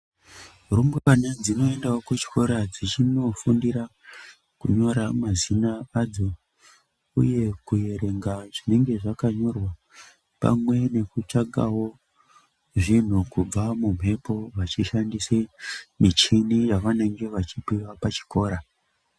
Rumbwana dzinoendawo kuzvikora dzeindofundira kunyora mazina adzo uye kuerenga zvinenge pamwe nekutsvakawo Zvinhu kubva kumhepo vachishandisawo michini dzavanenge veipuwa kuchikora.